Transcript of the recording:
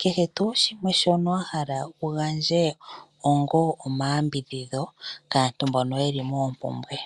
kehe tuu shimwe shono wahala wu gandja onga omayambidhidho kaantu mbono yeli mompumbwe.